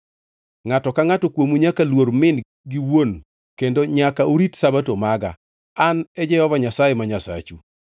“ ‘Ngʼato ka ngʼato kuomu nyaka luor min gi wuon kendo nyaka urit Sabato maga. An e Jehova Nyasaye ma Nyasachu.